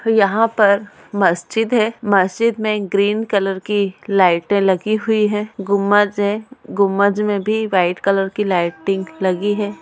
यहां पर मस्जिद है मस्जिद में ग्रीन कलर की लाइटें लगी हुई है गुंबद है गुंबद में भी व्हाइट कलर की लाइटिंग लगी है।